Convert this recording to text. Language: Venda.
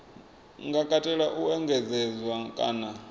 nga katela u engedzedzwa kana